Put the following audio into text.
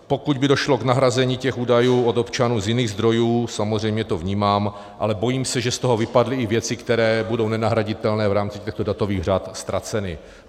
Pokud by došlo k nahrazení těch údajů od občanů z jiných zdrojů, samozřejmě to vnímám, ale bojím se, že z toho vypadly i věci, které budou nenahraditelně v rámci těchto datových řad ztraceny.